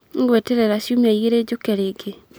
Nĩ ngweterera ciumia igĩrĩ njoke rĩngĩ.